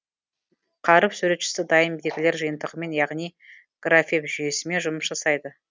қаріп суретшісі дайын белгілер жиынтығымен яғни графем жүйесімен жұмыс жасайды